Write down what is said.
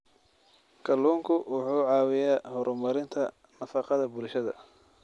Kalluunku wuxuu caawiyaa horumarinta nafaqada bulshada.